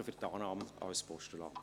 Danke für die Annahme als Postulat.